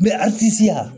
Bɛ a tisi a